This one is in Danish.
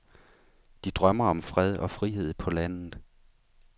De drømmer om fred og frihed på landet.